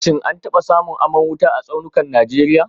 Shin an taba samun aman wuta a tsaunukan Najeriya